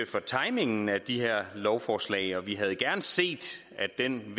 for timingen af de her lovforslag og vi havde gerne set at den